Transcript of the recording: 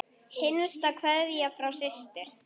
Hinsta kveðja frá systur.